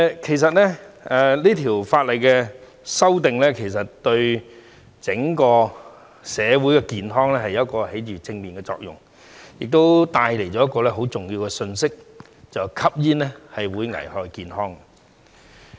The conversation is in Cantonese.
其實這項法例的修訂是對整個社會的健康發揮了正面作用，亦帶出一個很重要的信息︰吸煙會危害健康。